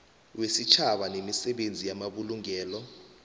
wesitjhaba nemisebenzi yamabulungelo